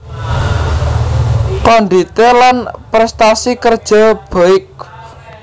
Kondite lan prestasi kerja baikb